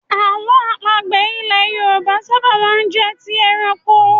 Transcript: Àlọ́ àpagbè ilẹ̀ Yorùbá ṣábà máa ń jẹ́ ti ẹranko.